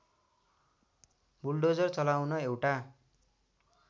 bulldozer चलाउन एउटा